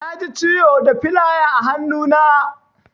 Naji ciwo da filaya a hannu na.